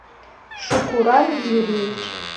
шукуран юрьевич